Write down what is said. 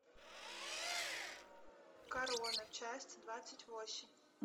корона часть двадцать восемь